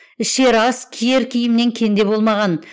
ішер ас киер киімнен кенде болмаған